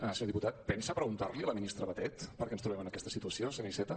senyor diputat pensa preguntar li a la ministra batet per què ens trobem en aquesta situació senyor iceta